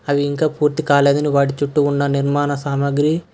అవి ఇంకా పూర్తి కాలేదని వాటి చుట్టూ ఉన్న నిర్మాణ సామాగ్రి--